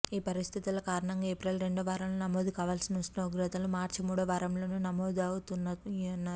ఈ పరిస్థితుల కారణంగా ఏప్రిల్ రెండో వారంలో నమోదు కావల్సిన ఉష్ణోగ్రతలు మార్చి మూడో వారంలోనే నమోదవుతున్నాయన్నారు